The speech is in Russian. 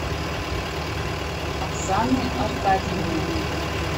оксаны аркадьевны